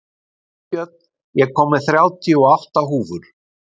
Freybjörn, ég kom með þrjátíu og átta húfur!